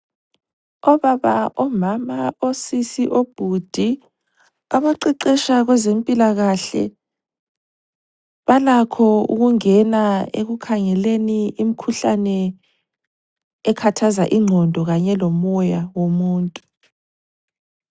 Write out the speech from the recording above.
Obaba, omama, osisi, obhudi abaqeqesha kwezempilakahle balakho ukungena ekukhangeleni imikhuhlane ekhathaza ingqondo kanye lomoya womuntu.